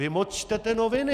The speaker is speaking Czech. Vy moc čtete noviny.